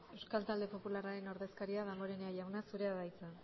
euskal talde popularraren ordezkaria damborenea jauna zurea da hitza